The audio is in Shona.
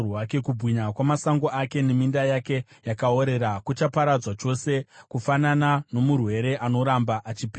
Kubwinya kwamasango ake neminda yake yakaorera kuchaparadzwa chose, kufanana nomurwere anoramba achipera.